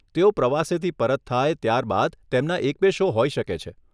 તેઓ પ્રવાસેથી પરત થાય ત્યાર બાદ તેમના એક બે શો હોઈ શકે છે.